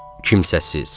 Kimsəsiz.